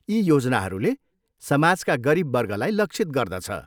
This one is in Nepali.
यी योजनाहरूले समाजका गरिब वर्गलाई लक्षित गर्दछ।